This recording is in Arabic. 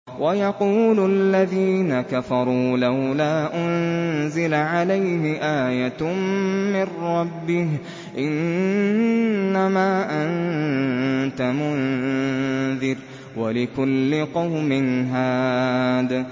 وَيَقُولُ الَّذِينَ كَفَرُوا لَوْلَا أُنزِلَ عَلَيْهِ آيَةٌ مِّن رَّبِّهِ ۗ إِنَّمَا أَنتَ مُنذِرٌ ۖ وَلِكُلِّ قَوْمٍ هَادٍ